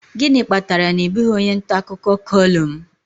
Gịnị kpatara na ị bụghị onye nta akụkọ kọlụm